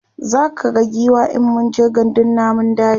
zaka ga giwa in mun je gandun namun daji